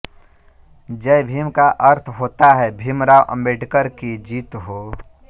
जय भीम का अर्थ होता हैं भीमराव अम्बेडकर की जीत हो